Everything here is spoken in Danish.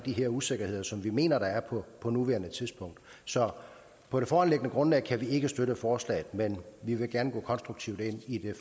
her usikkerheder som vi mener der er på på nuværende tidspunkt så på det foreliggende grundlag kan vi ikke støtte forslaget men vi vil gerne gå konstruktivt ind i